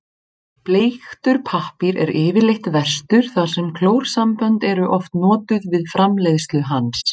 Bleiktur pappír er yfirleitt verstur þar sem klórsambönd eru oft notuð við framleiðslu hans.